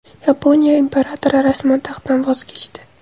Yaponiya imperatori rasman taxtdan voz kechdi.